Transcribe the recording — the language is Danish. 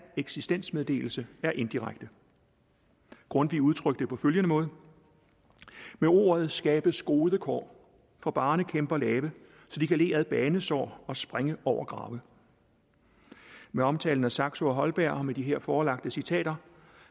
eksistensmeddelelse er indirekte og grundtvig udtrykte det på følgende måde med ordet skabes gode kår for barnekæmper lave så de kan le ad banesår og springe over grave med omtalen af saxo og holberg og med de her forelagte citater